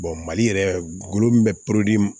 mali yɛrɛ golo min bɛ